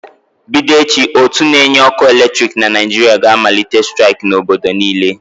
Bido echi, ótú na-enye ọkụ eletriki na Naịjirịa ga-amalite staịk n'obodo niile.